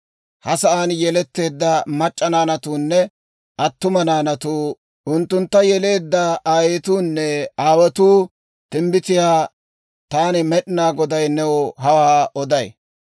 Ha sa'aan yeletteedda mac'c'a naanatuunne attuma naanatuu, unttuntta yeleedda aayetuunne aawotuu timbbitiyaa taani Med'inaa Goday new hawaa oday.